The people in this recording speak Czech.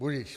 Budiž.